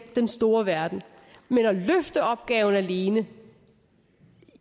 den store verden men at løfte opgaven alene